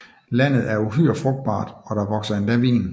Landet er uhyre frugtbart og der vokser endda vin